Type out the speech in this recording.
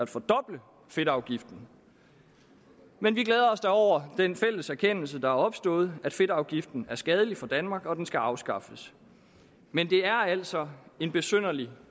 fordoble fedtafgiften men vi glæder os da over den fælles erkendelse der er opstået at fedtafgiften er skadelig for danmark og at den skal afskaffes men det er altså en besynderlig